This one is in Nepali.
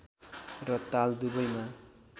र ताल दुवैमा